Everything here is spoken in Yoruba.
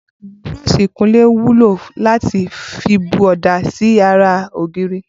Búró̩s̩ì ìkunlé wúlò láti fi bu ò̩dà sí ara ògiri